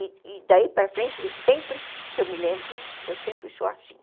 E daí para frente, sempre que eu me lembro, eu sempre sou assim.